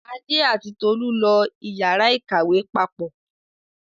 Adé àti Tolú lọ ìyàrá-ìkàwé papọ̀.